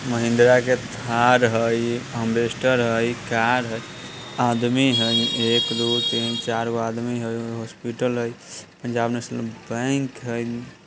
महिनेद्रा के थार है एम्बेसडर है कार है आदमी है एक दो तीन चार गो आदमी है एगो हॉस्पिटल है पंजाब नेशनल बैंक है।